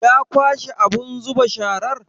Ya kwashe abun zuba sharar?